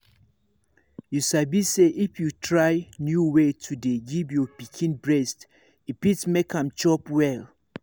you sabi say if you try new way to dey give your pikin breast e fit make am chop well